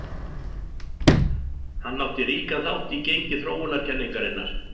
Hann átti ríkan þátt í gengi þróunarkenningarinnar.